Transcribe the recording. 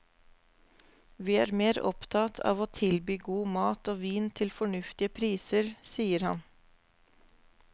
Vi er mer opptatt av å tilby god mat og vin til fornuftige priser, sier han.